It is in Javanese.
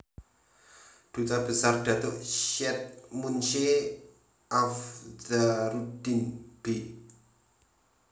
Duta Besar Datuk Syed Munshe Afdzaruddin b